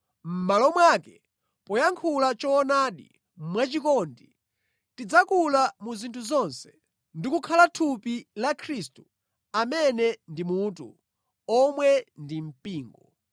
Mʼmalo mwake, poyankhula choonadi mwachikondi, tidzakula mu zinthu zonse ndi kukhala thupi la Khristu, amene ndi Mutu, omwe ndi mpingo.